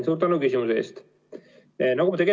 Suur tänu küsimuse eest!